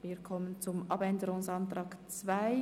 Wir kommen zum Abänderungsantrag 2,